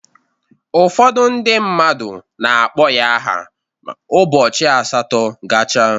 Ụfọdụ ndị mmadụ na-akpọ ya aha ụbọchị asatọ gacha.